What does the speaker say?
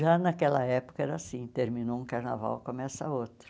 Já naquela época era assim, terminou um carnaval, começa outro.